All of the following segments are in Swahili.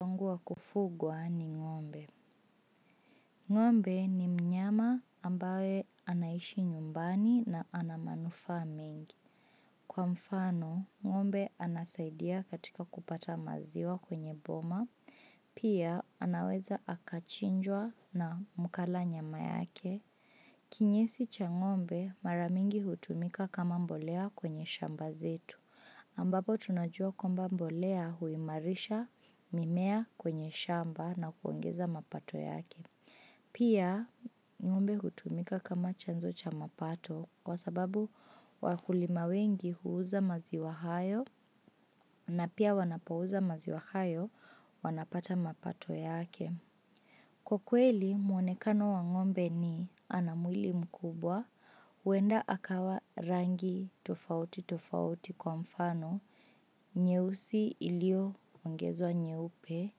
Wangu wakufugwa ni ng'ombe. Ng'ombe ni mnyama ambaye anaishi nyumbani na ana manufaa mengi. Kwa mfano, ng'ombe anasaidia katika kupata maziwa kwenye boma, pia anaweza akachinjwa na mkala nyama yake. Kinyesi cha ng'ombe, mara mingi hutumika kama mbolea kwenye shamba zetu. Ambapo tunajua kwamba mbolea huimarisha mimea kwenye shamba na kuongeza mapato yake. Pia ng'ombe hutumika kama chanzo cha mapato kwa sababu wakulima wengi huuza maziwa hayo na pia wanapo uza maziwa hayo wanapata mapato yake. Kwa kweli, muonekano wa ng'ombe ni ana mwili mkubwa, huenda akawa rangi tofauti tofauti kwa mfano, nyeusi ilioongezwa nyeupe,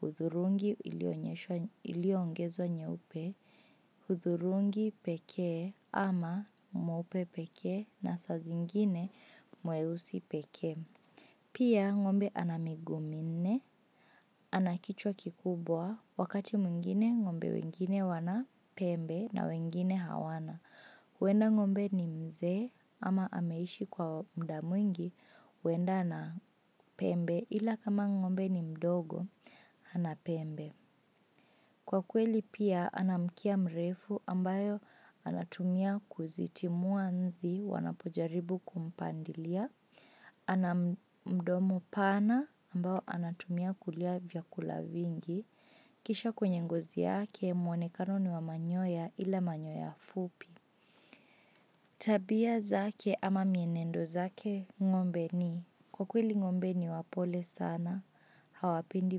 hudhurungi iliyoonyeshwa iliyo ongezwa nyeupe, hudhurungi pekee, ama, nyeupe pekee na saa zingine nyeusi pekee Pia ng'ombe ana miguu minne, ana kichwa kikubwa, wakati mwingine ng'ombe wengine wana pembe na wengine hawana huenda ng'ombe ni mzee, ama ameishi kwa muda mwingi huenda ana pembe, ila kama ng'ombe ni mdogo hana pembe Kwa kweli pia ana mkia mrefu ambayo anatumia kuzitumua nzi wanapojaribu kumpandilia ana mdomo pana ambao anatumia ku kula vyakula vingi Kisha kwenye ngozi yake mwonekano ni wa manyoya, ila manyoya fupi Tabia zake ama mienendo zake ng'ombe ni, kwa kweli ng'ombe ni wapole sana hawapendi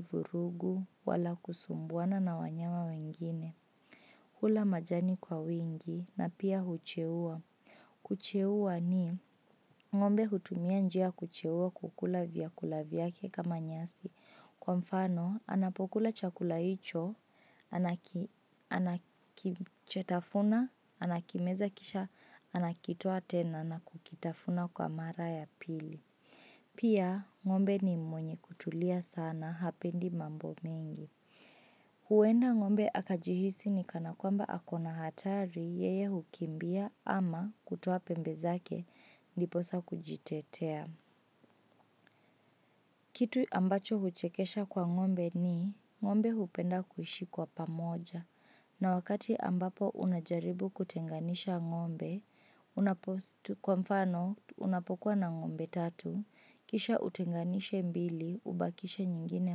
vurugu wala kusumbuana na wanyama wengine Hula majani kwa wingi na pia hucheua Kucheua ni, ngombe hutumia njia ya kucheua kukula vyakula vyake kama nyasi, kwa mfano, anapokula chakula hicho Anakimeza kisha anakitoa tena na kukitafuna kwa mara ya pili Pia, ng'ombe ni mwenye kutulia sana hapendi mambo mingi huenda ng'ombe akajihisi ni kanakwamba ako na hatari, yeye hukimbia ama kutoa pembe zake ndiposa kujitetea. Kitu ambacho huchekesha Kwa ng'ombe ni, ng'ombe hupenda kuishi kwa pamoja na wakati ambapo unajaribu kutenganisha ng'ombe Unapo kwa mfano, unapokua na ng'ombe tatu, kisha utenganishe mbili, ubakishe nyingine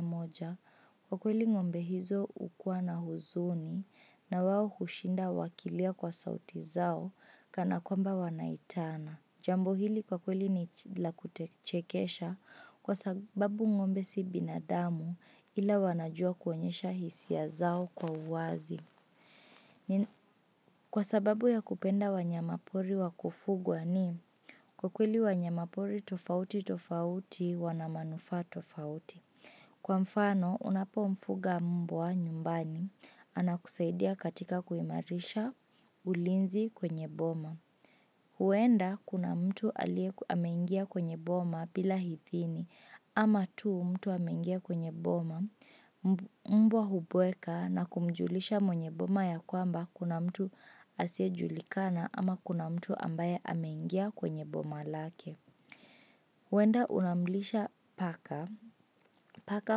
moja, kwa kweli ng'ombe hizo hukuwa na huzuni na wao hushinda wakilia kwa sauti zao kanakwamba wanaitana Jambo hili kwa kweli ni la kuchekesha kwa sababu ng'ombe si binadamu ila wanajua kuonyesha hisia zao kwa uwazi Kwa sababu ya kupenda wanyama pori wa kufugwa ni, kwa kweli wanyama pori tofauti tofauti wana manufaa tofauti Kwa mfano unapomfuga mbwa nyumbani, anakusaidia katika kuimarisha ulinzi kwenye boma huenda kuna mtu ameingia kwenye boma bila idhini ama tu mtu ameingia kwenye boma Mbwa hubweka na kumjulisha mwenye boma ya kwamba kuna mtu asiyejulikana ama kuna mtu ambaye ameingia kwenye boma lake huenda unamlisha paka, paka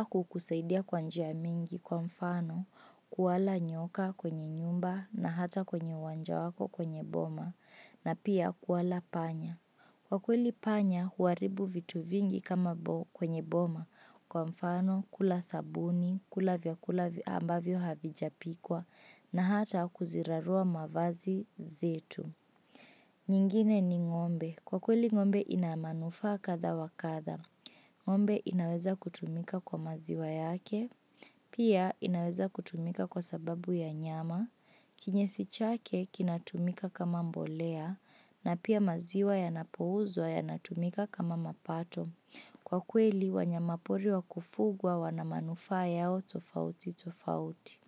hukusaidia kwa njia mingi, kwa mfano, kuwala nyoka kwenye nyumba na hata kwenye uwanja wako kwenye boma na pia kuwala panya Kwa kweli panya huharibu vitu vingi kwenye boma kwa mfano kula sabuni, kula vyakula ambavyo havijapikwa, na hata kuzirarua mavazi zetu nyingine ni ng'ombe, kwa kweli ina manufaa kadha wa kadha ng'ombe inaweza kutumika kwa maziwa yake pia inaweza kutumika kwa sababu ya nyama, kinyesi chake kinatumika kama mbolea, na pia maziwa yanapouzwa yanatumika kama mapato Kwa kweli, wanyama pori wa kufugwa wana manufaa yao tofauti tofauti.